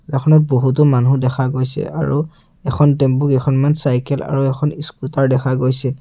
এখনত বহুতো মানুহ দেখা গৈছে আৰু এখন টেম্পু কেইখনমান চাইকেল আৰু এখন স্কুটাৰ দেখা গৈছে।